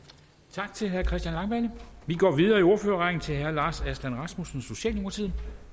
tak til herre christian langballe vi går videre i ordførerrækken til herre lars aslan rasmussen socialdemokratiet